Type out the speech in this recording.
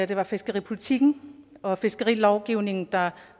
det var fiskeripolitikken og fiskerilovgivningen der